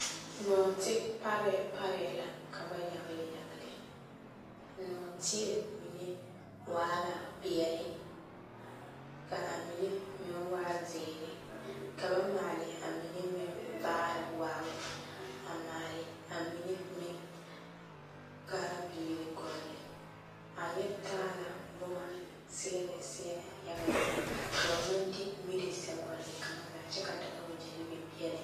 Nɔɔte parɛɛ parɛɛ la ka ba yagele yagele, nɔɔteɛ mine waa la peɛle ka a mine meŋ waa zeere ka ba maale a mine meŋ vaare waabo a maale a mine meŋ ka a viiri gɔlle a yɛ taa la boma seɛlɛ seɛlɛ yaga yaga ka ba maŋ de miri sɛ gɔlle kaŋazaa kyɛ ka Dagawegyɛre biŋ peɛle